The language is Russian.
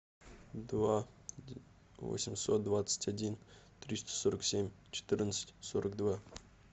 два восемьсот двадцать один триста сорок семь четырнадцать сорок два